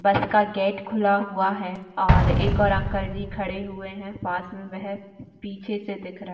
बस का गेट खुला हुआ है और एक और अंकल जी खड़े हुए है पास में वह पीछे से दिख रहा है।